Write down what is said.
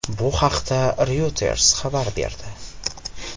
Bu haqda Reuters xabar berdi .